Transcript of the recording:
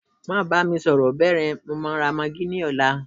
ma bami soro beeyen, mo ma raaghi ni ọlá